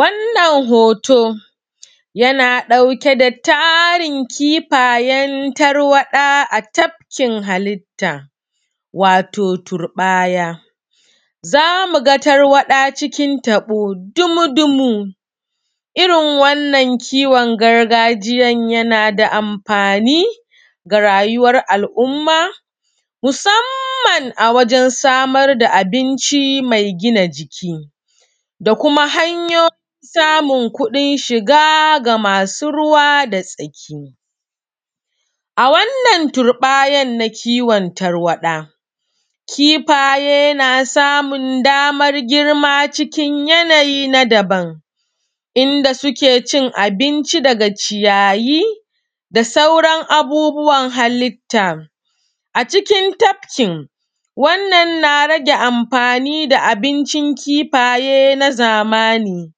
Wannan hoto yana ɗauke da tarin kifayen tarwaɗa a tafkin halitta, wato turɓaya. Za mu ga tarwaɗa cikin taɓo dumu-dumu, irin wannan kiwon gargajiyan yana da amfani ga rayuwar al’umma, musamman a wajen samar da abinci mai gina jiki, da kuma hanyo samun kuɗin shiga ga masu ruwa da tsaki. A wannan turɓayan na kiwon tarwaɗa, kifaye na samun daman girma cikin yanayi na daban, inda suke cin abinci dga ciyayi da sauran abubuwan halitta. Acikin tafki, wannan na rage amfani da abincin kifaye na zamani,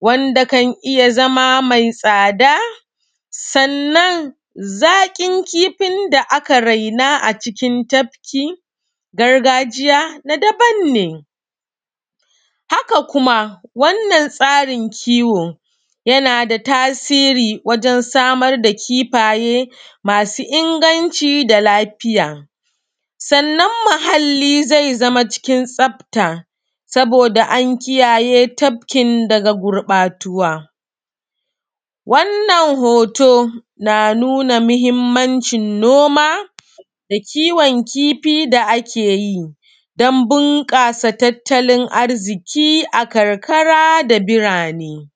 wanda kan iya zama mai tsada, sannan zaƙin kifin da aka raina acikin tafki gargajiya na daban ne. haka kuma, wannan tsarin kiwo yana da tasiri wajen samar da kifaye masu inganci da lafiya. Sannan muhalli zai zama cikin tsafta, saboda an kiyaye tafkin daga gurɓatuwa. Wannan hoto na nuna mahimmancin noma da kiwon kifi da ake yi, don inganta tattalin arziƙi a karkara da birane.